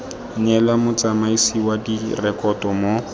neelwa motsamaisi wa direkoto mo